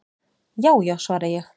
"""Já já, svara ég."""